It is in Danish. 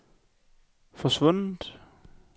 forsvundet